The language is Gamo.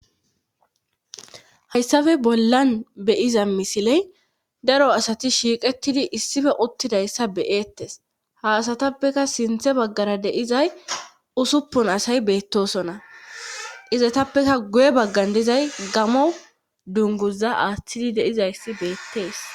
hayssafe bollan beyiza misiley daro asati shiiqettidi issife uttidayssa beyeettes ha asatappeka sinthe baggara deizay usuppun asay beettosona izatappeka guye baggan dizay gamo dunguza aaththidi de'izayssi beettees